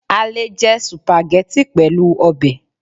a le jẹ Sùpàgẹ́tì pẹlu obe